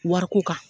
Wariko kan